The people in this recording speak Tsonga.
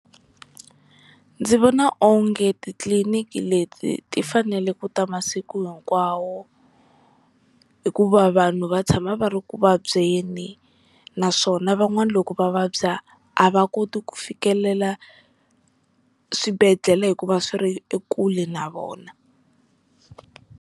Ndzi vona onge titliliniki leti ti fanele ku ta masiku hinkwawo, hikuva vanhu va tshama va ri ku vabyeni naswona van'wani loku va vabya a va koti ku fikelela swibedhlele hikuva swi ri elkule na vona.